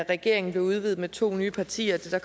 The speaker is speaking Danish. regeringen blev udvidet med to nye partier det